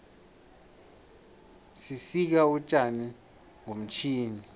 sisika utjani ngomtjhini